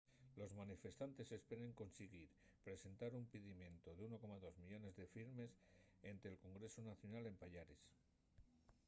los manifestantes esperen consiguir presentar un pidimientu de 1.2 millones de firmes énte’l congresu nacional en payares